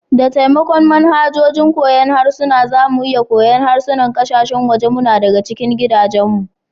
Da taimakon manhajojin koyon harsuna, za mu iya koyon harsunan kasashen waje muna daga cikin gidajenmu.